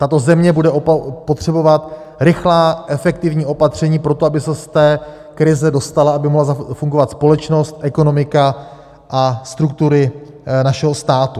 Tato země bude potřebovat rychlá, efektivní opatření pro to, aby se z té krize dostala, aby mohla fungovat společnost, ekonomika a struktury našeho státu.